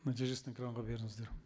нәтижесін экранға беріңіздер